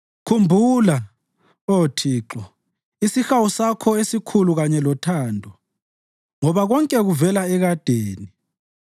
Khumbula, Oh Thixo, isihawu Sakho esikhulu kanye lothando, ngoba konke kuvela ekadeni.